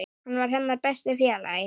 Hann var hennar besti félagi.